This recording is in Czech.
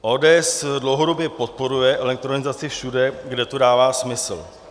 ODS dlouhodobě podporuje elektronizaci všude, kde to dává smysl.